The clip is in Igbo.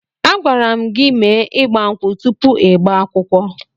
Agwara m gị mee ịgba nkwụ tụpụ ịgba akwụkwọ!